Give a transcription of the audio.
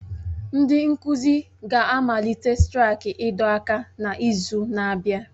Ndị nkuzi ga-amalite straiki ịdọ aka ná ntị n'izu na-abịa